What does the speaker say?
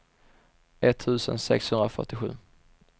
etttusen sexhundrafyrtiosju